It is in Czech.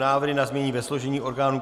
Návrh na změny ve složení orgánů